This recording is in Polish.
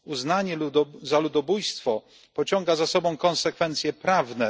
Uznanie za ludobójstwo pociąga za sobą konsekwencje prawne.